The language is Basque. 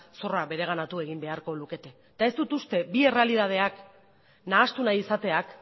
zorra bereganatu egin beharko lukete eta ez dut uste bi errealitateak nahastu nahi izateak